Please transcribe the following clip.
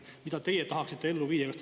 Mida teie tahaksite ellu viia?